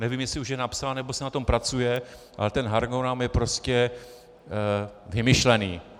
Nevím, jestli už je napsán, nebo se na tom pracuje, ale ten harmonogram je prostě vymyšlený.